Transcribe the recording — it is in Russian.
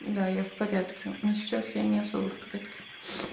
да я в порядке но сейчас я не особо в порядке